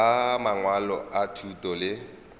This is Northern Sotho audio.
ba mangwalo a thuto le